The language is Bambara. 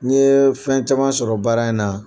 N ye fɛn caman sɔrɔ baara in na